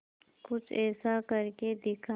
कुछ ऐसा करके दिखा